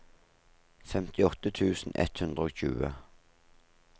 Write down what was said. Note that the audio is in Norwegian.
femtiåtte tusen ett hundre og tjue